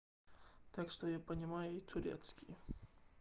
так что я понимаю и турецкий